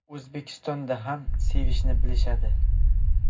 O‘zbekistonda ham sevishni bilishadi.